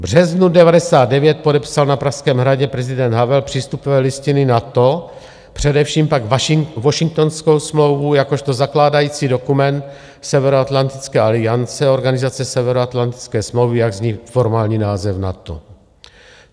V březnu 1999 podepsal na Pražském hradě prezident Havel přístupové listiny NATO, především však Washingtonskou smlouvu jakožto zakládající dokument Severoatlantické aliance, Organizace Severoatlantické smlouvy, jak zní formální název NATO.